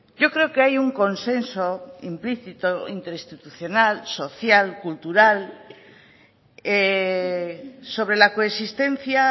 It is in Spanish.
yo creo que hay un consenso implícito interinstitucional social cultural sobre la coexistencia